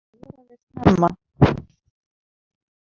Það voraði snemma.